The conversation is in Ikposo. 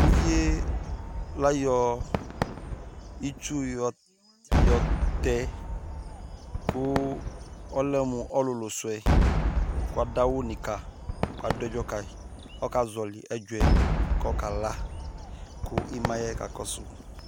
uvi yɛ la yɔ itsu yɔ tɛ kò ɔlɛ mo ɔlòlò su yɛ k'adu awu ni kayi k'adu ɛdzɔ ka yi k'ɔka zɔli ɛdzɔ yɛ k'ɔka la k'ima yɛ ka kɔsu